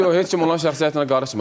Yox, heç kim onun şəxsi həyatına qarışmır.